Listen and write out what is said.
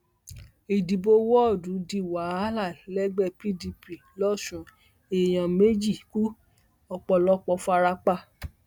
ìdìbò wọọdù di wàhálà lẹgbẹ pdp lọsun èèyàn méjì kú ọpọlọpọ fara pa